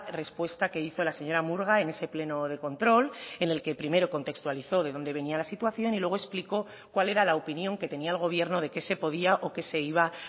respuesta que hizo la señora murga en ese pleno de control en el que primero contextualizó de dónde venía la situación y luego explicó cuál era la opinión que tenía el gobierno de qué se podía o qué se iba